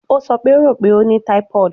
O sọ pe o ro pe o ni typhoid